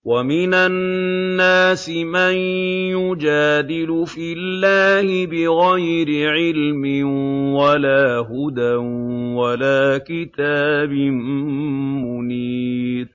وَمِنَ النَّاسِ مَن يُجَادِلُ فِي اللَّهِ بِغَيْرِ عِلْمٍ وَلَا هُدًى وَلَا كِتَابٍ مُّنِيرٍ